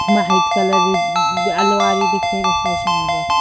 white colour अलवारी दिख रही बस ऐसे --